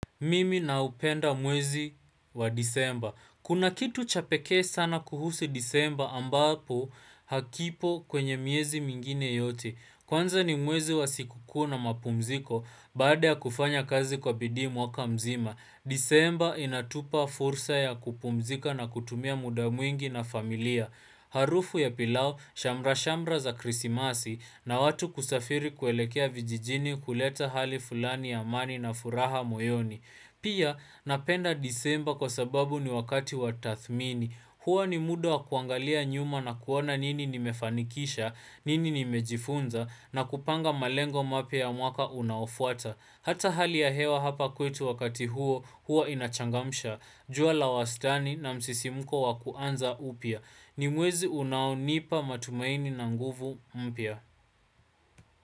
Mimi naupenda mwezi wa disemba. Kuna kitu cha pekee sana kuhusu disemba ambapo hakipo kwenye miezi mingine yote. Kwanza ni mwezi wa sikukuu na mapumziko baada ya kufanya kazi kwa bidii mwaka mzima. Disemba inatupa fursa ya kupumzika na kutumia muda mwingi na familia Harufu ya pilau, shamra-shamra za krisimasi na watu kusafiri kuelekea vijijini kuleta hali fulani ya amani na furaha moyoni Pia napenda disemba kwa sababu ni wakati watathmini Huwa ni muda wa kuangalia nyuma na kuona nini nimefanikisha nini nimejifunza na kupanga malengo mpya ya mwaka unaofuata Hata hali ya hewa hapa kwetu wakati huo, hua inachangamsha, jua la wastani na msisimko wa kuanza upya. Ni mwezi unaonipa matumaini na nguvu mpya.